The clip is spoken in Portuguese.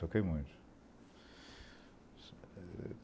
Toquei muito.